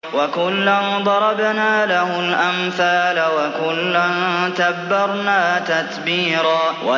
وَكُلًّا ضَرَبْنَا لَهُ الْأَمْثَالَ ۖ وَكُلًّا تَبَّرْنَا تَتْبِيرًا